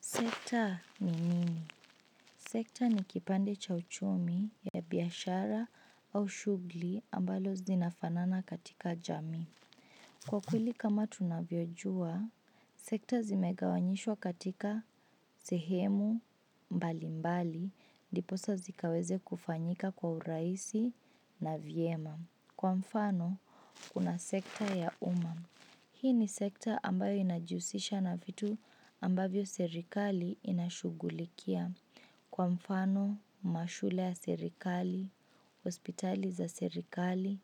Sekta ni nini? Sekta ni kipande cha uchumi ya biashara au shughuli ambalo zinafanana katika jamii. Kwa kweli kama tunavyojua, sekta zimegawanyishwa katika sehemu mbali mbali, ndiposa zikaweze kufanyika kwa urahisi na vyema. Kwa mfano, kuna sekta ya umam. Hii ni sekta ambayo inajihusisha na vitu ambavyo serikali inashugulikia kwa mfano, mashule ya serikali, hospitali za serikali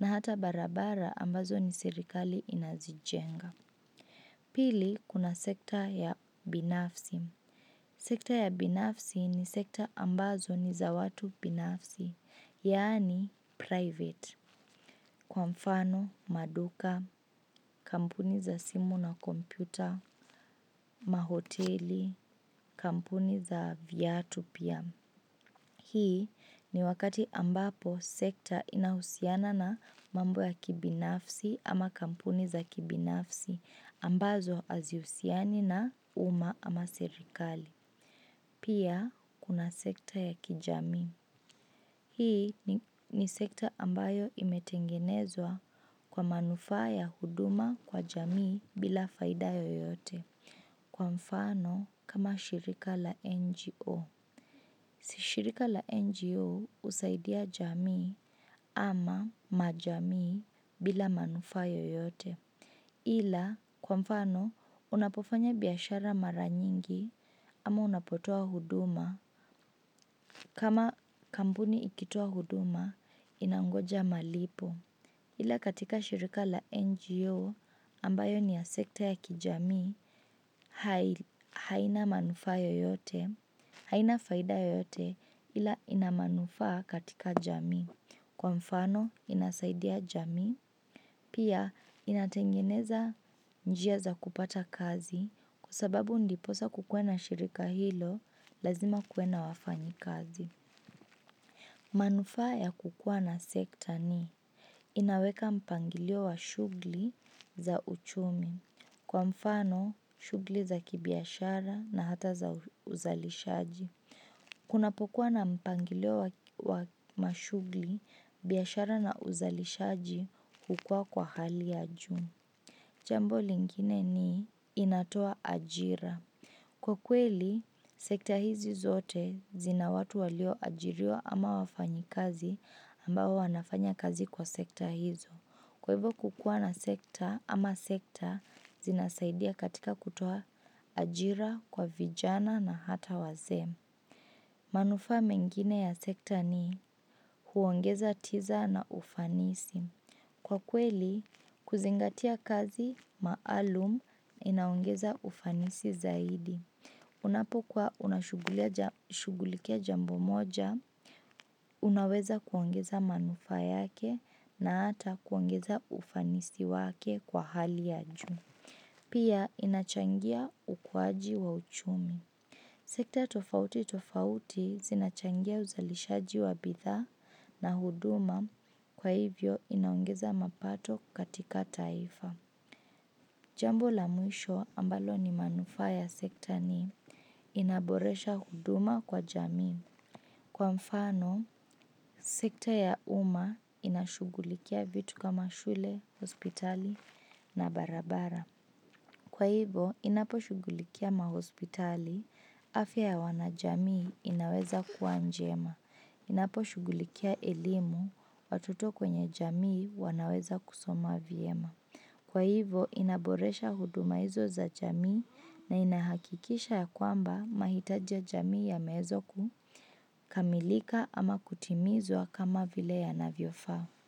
na hata barabara ambazo ni serikali inazijenga. Pili, kuna sekta ya binafsi. Sekta ya binafsi ni sekta ambazo ni za watu binafsi, yaani private. Kwa mfano, maduka, kampuni za simu na kompyuta, mahoteli, kampuni za viatu pia. Hii ni wakati ambapo sekta inahusiana na mambo ya kibinafsi ama kampuni za kibinafsi ambazo haziusiani na uma ama serikali. Pia kuna sekta ya kijamii. Hii ni sekta ambayo imetengenezwa kwa manufaa ya huduma kwa jamii bila faida yoyote. Kwa mfano kama shirika la NGO. Shirika la NGO husaidia jamii ama majamii bila manufaa yeyote ila kwa mfano unapofanya biashara mara nyingi ama unapotoa huduma. Kama kampuni ikitoa huduma inangoja malipo ila katika shirika la NGO ambayo ni ya sekta ya kijamii haina manufaa yeyote, haina faida yeyote ila ina manufaa katika jamii, kwa mfano inasaidia jamii pia inatengeneza njia za kupata kazi kwa sababu ndiposa kukue na shirika hilo lazima kue na wafanyi kazi. Manufaa ya kukua na sekta ni inaweka mpangilio wa shughuli za uchumi kwa mfano shughuli za kibiashara na hata za uzalishaji. Kunapokua na mpangilio wa mashughuli, biashara na uzalishaji hukua kwa hali ya juu. Jambo lingine ni inatoa ajira. Kwa kweli, sekta hizi zote zina watu walio ajiriwa ama wafanyi kazi ambao wanafanya kazi kwa sekta hizo. Kwa hivo kukua na sekta ama sekta zinasaidia katika kutoa ajira kwa vijana na ata wazee. Manufaa mengine ya sekta ni huongeza tiza na ufanisi. Kwa kweli, kuzingatia kazi, maalum, inaongeza ufanisi zaidi. Unapokuwa unashugulikia jambo moja, unaweza kuongeza manufaa yake na ata kuongeza ufanisi wake kwa hali ya juu. Pia, inachangia ukuaji wa uchumi. Sekta tofauti tofauti zinachangia uzalishaji wa bidhaa na huduma kwa hivyo inaongeza mapato katika taifa. Jambo la mwisho ambalo ni manufaa ya sekta ni inaboresha huduma kwa jamii. Kwa mfano, sekta ya uma inashugulikia vitu kama shule, hospitali na barabara. Kwa hivo, inaposhugulikia mahospitali, afya ya wanajamii inaweza kua njema. Inaposhugulikia elimu, watoto kwenye jamii wanaweza kusoma vyema. Kwa hivo, inaboresha huduma hizo za jamii na inahakikisha ya kwamba mahitaji ya jamii yameweza kukamilika ama kutimizwa kama vile yanavyofaa.